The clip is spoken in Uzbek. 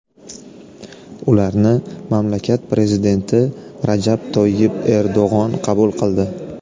Ularni mamlakat prezidenti Rajab Toyyib Erdo‘g‘on qabul qildi.